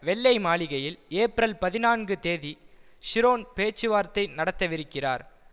வெள்ளை மாளிகையில் ஏப்ரல் பதினான்கு தேதி ஷிரோன் பேச்சுவார்த்தை நடத்தவிருக்கிறார்